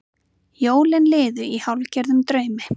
Jólin liðu í hálfgerðum draumi.